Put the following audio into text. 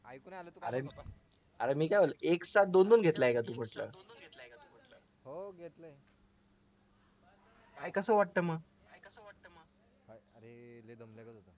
अरे मी काय म्हणतो एक सात दोन घेतलाय का म्हटलं काय कसं वाटतं मग